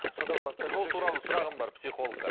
содан сол туралы сұрағым бар психологқа